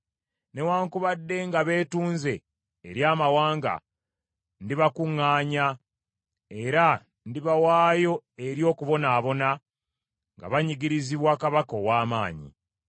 Newaakubadde nga beetunze eri amawanga, ndibakuŋŋaanya, era ndibawaayo eri okubonaabona nga banyigirizibwa kabaka ow’amaanyi.